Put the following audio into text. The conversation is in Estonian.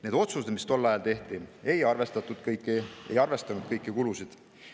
Need otsused, mis tol ajal tehti, ei arvestanud kõiki kulusid.